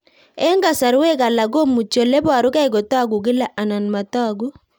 Eng'kasarwek alak komuchi ole parukei kotag'u kila anan matag'u